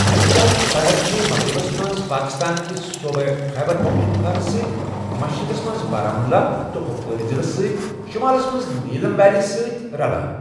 اَمہِ شَہَرٕچ سرحد چھِ مَغربس مَنٛز پٲکِستانکس صوٗبہٕ خیبر پختونخواس سۭتۍ، مشرقس منٛز بارہ ملہ تہٕ کۄپوور ضِلس سٍتۍ، شمالس منٛز نیٖلم ویلی سۭتۍ رَلان۔